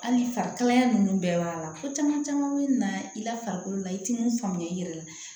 Hali farikalaya ninnu bɛɛ b'a la ko caman caman bɛ na i la farikolo la i tɛ mun faamuya i yɛrɛ la